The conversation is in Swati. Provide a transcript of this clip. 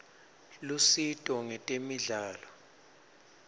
lusito ngetemidlalo